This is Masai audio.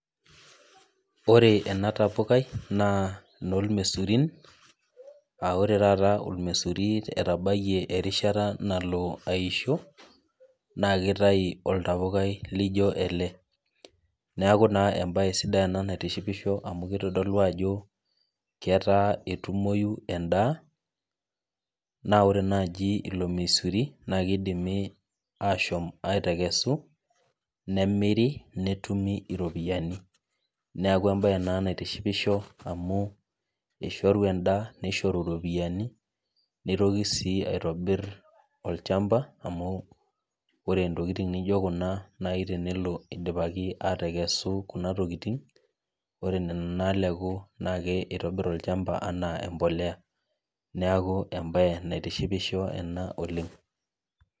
Ore ena tapukai naa enomesurin, ah ore taata ormesuri etabayie erishata nalo aisho, naa kitayu oltapukai lijo ele. Neeku naa ebae sidai ena naitishipisho amu kitodolu ketaa etumoyu endaa, naa ore naji ilo mesuri, na kidimi ashom atekesu, nemiri netumi iropiyiani. Neeku ebae ena naitishipisho amu ishoru endaa nishoru ropiyiani, nitoki si aitobir olchamba amu ore intokiting nijo kuna nai tenelo idipaki atekesu kuna tokiting, ore nena naleku nake itobir olchamba anaa empolea. Neeku ebae naitishipisho ena oleng.